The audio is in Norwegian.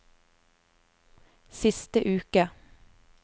siste uke